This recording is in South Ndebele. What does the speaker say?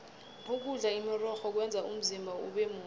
ukudla imirorho kwenza umzimba ubemuhle